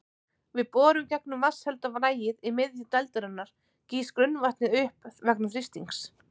Við borun gegnum vatnshelda lagið í miðju dældarinnar gýs grunnvatnið upp vegna þrýstings.